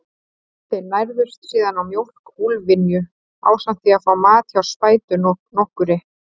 Þeir nærðust síðan á mjólk úlfynju, ásamt því að fá mat hjá spætu nokkurri.